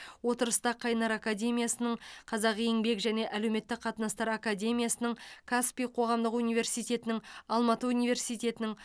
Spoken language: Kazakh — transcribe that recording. отырыста қайнар академиясының қазақ еңбек және әлеуметтік қатынастар академиясының каспий қоғамдық университетінің алматы университетінің